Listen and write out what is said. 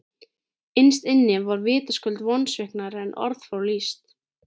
Innst inni var ég vitaskuld vonsviknari en orð fá lýst.